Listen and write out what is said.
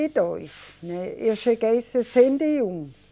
e dois, né. Eu cheguei sessenta e um